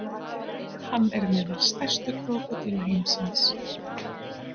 Hann er meðal stærstu krókódíla heimsins.